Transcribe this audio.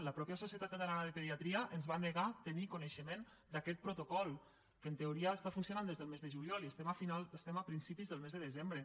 la mateixa socie tat catalana de pediatria ens va negar tenir coneixement d’aquest protocol que en teoria està funcionant des del mes de juliol i estem a principis del mes de de sembre